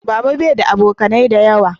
Baba bai da abokanai da yawa